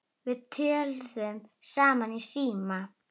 Við töluðum saman í síma.